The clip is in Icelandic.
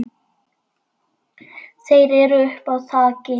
Þeir eru uppi á þaki.